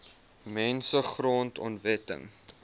mense grond onwettig